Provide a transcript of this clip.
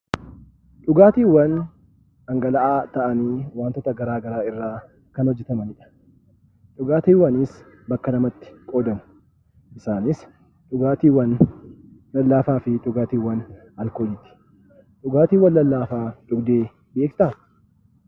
Dhugaatiiwwan dhangala'aa ta'anii wantoota garaagaraa irraa kan hojjetamani dha. Dhugaatiiwwanis bakka lamatti qoodamu. Isaanis, dhugaatiiwwan lallaafaa fi dhugaatiiwwan alkoolii ti. Dhugaatiiwwan lallaafaa dhugdee beektaa?